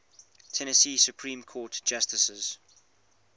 tennessee supreme court justices